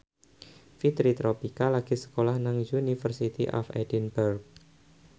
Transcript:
Fitri Tropika lagi sekolah nang University of Edinburgh